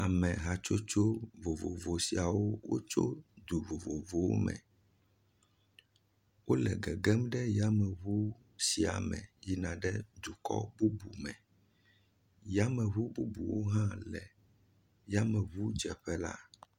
Amehatsotso vovovo siawo wotso du vovovowo me. Wo le gegm ɖe yameŋuwo sia me yin aɖe dukɔ bubu me. Yameŋu bubuwo hã le yameŋudzeƒe la.